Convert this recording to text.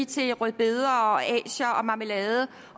til rødbeder og asier og marmelade